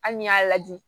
Hali n'i y'a lajɛ